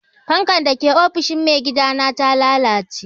Fankar da ke ofishin maigidana ta lalace.